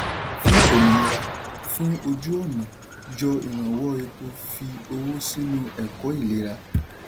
fún òmìnira fún òjú-ọ̀nà yọ ìrànwọ́ epo fi owó sínú ẹ̀kọ́ ìlera.